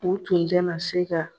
U tun tɛna se ka